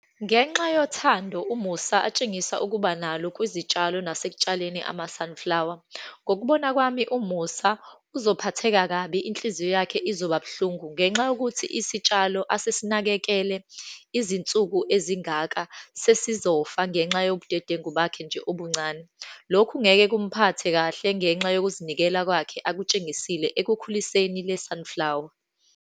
Ngenxa yothando uMusa atshengisa ukuba nalo kwizitshalo nasekutshaleni ama-sunflower. Ngokubona kwami uMusa uzophatheka kabi, inhliziyo yakhe izoba buhlungu ngenxa yokuthi isitshalo asesinakekele izinsuku ezingaka sesizofa, ngenxa yobudedengu bakhe nje obuncane. Lokhu ngeke kumphathe kahle ngenxa yokuzinikela kwakhe akutshengisile ekukhuliseni le sunflower.